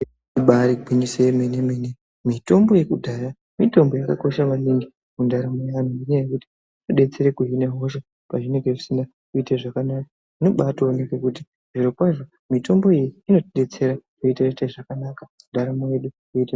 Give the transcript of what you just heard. Ibari gwinyiso yemene mene mitombo yekudhaya mitombo yakakosha maningi mundaramo yaanhu ngenyaya yekuti inodetsere kuhine hosha pazvinenge zvisine kuite zvakanaka zvinobaatooneke kuti zviro kwazvo mitombo iyi inotidetsera zvotoite zvakanaka ndaramo yedu yoto.